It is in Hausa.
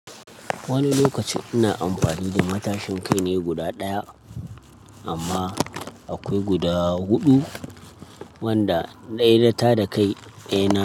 Wani lokaci ina amfani da matashin kai ne guda ɗaya amma akwai guda huɗu wanda ɗaya nata da kai ne.